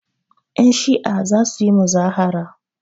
Yanshi'a za su yi muzahara.